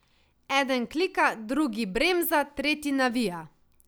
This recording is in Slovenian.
Eden klika, drugi bremza, tretji navija.